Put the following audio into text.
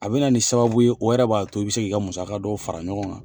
A be na ni sababu ye o yɛrɛ b'a to i be se k'i musaka dɔw fara ɲɔgɔn kan